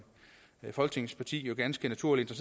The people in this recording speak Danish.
folketingsparti ganske naturligt er